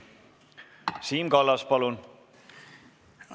Siim Kallas, palun!